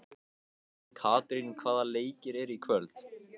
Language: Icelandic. Katrín, hvaða leikir eru í kvöld?